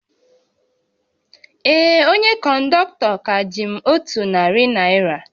Ee, onye kọndọktọ ka ji m otu narị naira